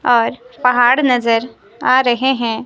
और पहाड़ नजर आ रहे हैं।